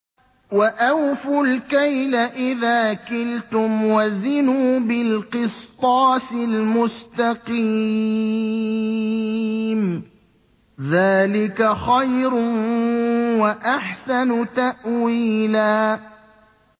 وَأَوْفُوا الْكَيْلَ إِذَا كِلْتُمْ وَزِنُوا بِالْقِسْطَاسِ الْمُسْتَقِيمِ ۚ ذَٰلِكَ خَيْرٌ وَأَحْسَنُ تَأْوِيلًا